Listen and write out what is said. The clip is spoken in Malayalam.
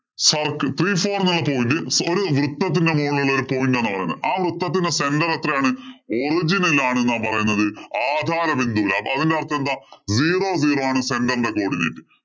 circle. Three four എന്നുള്ള point ഒരു വൃത്തത്തിന്‍റെ മുകളിലുള്ള ഒരു point എന്നാണ് പറയുന്നത്. ആ വൃത്തത്തിന്‍റെ center എത്രയാണ്? original ആണെന്നാണ് പറയുന്നത്. ആകാരബിന്ദു. അപ്പൊ അതിന്‍റെ അര്‍ത്ഥമേന്താ? zero zero ആണ് center ഇന്‍റെ codinate